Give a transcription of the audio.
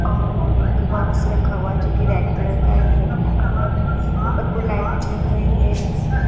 और एक बॉक्स रखा हुआ है जोकि रेड कलर का है अ उपर को लाइट जल रही है।